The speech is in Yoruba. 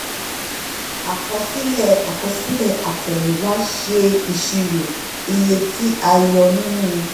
àkọsílẹ̀ àkọsílẹ̀ àtẹ̀yìnwá ṣe ìṣirò iye tí a yọ nínú.